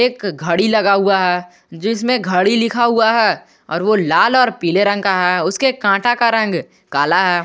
एक घड़ी लगा हुआ है जिसमें घड़ी लिखा हुआ है और वो लाल और पीले रंग का है उसके कांटे का रंग काला है।